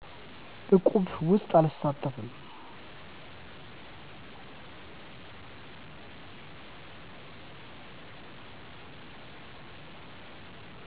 እቁብ ውስጥ አልሳተፍም